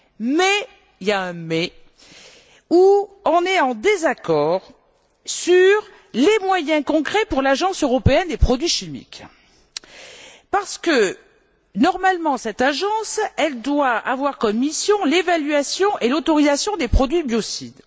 Mais il y a un mais nous sommes en désaccord sur les moyens concrets pour l'Agence européenne des produits chimiques parce que cette agence doit normalement avoir pour mission l'évaluation et l'autorisation des produits biocides.